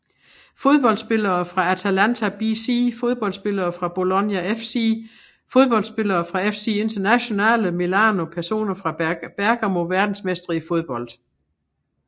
Fodboldspillere fra Atalanta BC Fodboldspillere fra Bologna FC Fodboldspillere fra FC Internazionale Milano Personer fra Bergamo Verdensmestre i fodbold